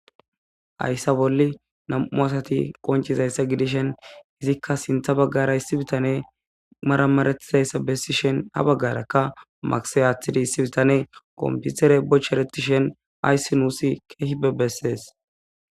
ayssa bolli nam7u asati qoncizayssa gidishen izikka sintha baggara issi bitane maramaretizayssa bessishen ha baggarakka magise aaththidi issi bitane qomputere bocheretishen ayssi nuusi keehibe bessees